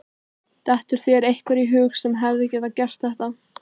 Dettur þér einhver í hug sem hefði getað gert þetta?